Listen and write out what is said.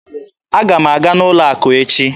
Aga m aga n'ụlọ akụ echi